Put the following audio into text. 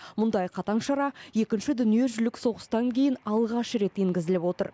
мұндай қатаң шара екінші дүниежүзілік соғыстан кейін алғаш рет енгізіліп отыр